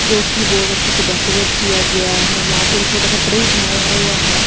जोकि बहोत अच्छे से डेकोरेट किया गया है वहां पे थोड़ा सा ट्री बनाया हुआ है।